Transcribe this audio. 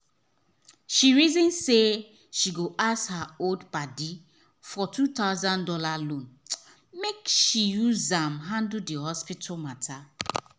she reason say she go ask her old padi for two thousand dollars loan make she use am handle the hospital matter.